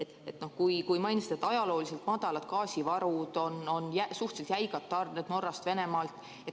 Te mainisite, et on ajalooliselt madalad gaasivarud, suhteliselt jäigad tarned Norrast ja Venemaalt.